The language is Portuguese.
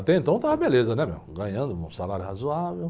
Até então estava beleza, né, meu? Ganhando um salário razoável.